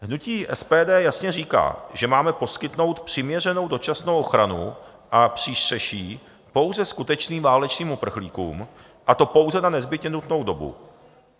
Hnutí SPD jasně říká, že máme poskytnout přiměřenou dočasnou ochranu a přístřeší pouze skutečným válečným uprchlíkům, a to pouze na nezbytně nutnou dobu.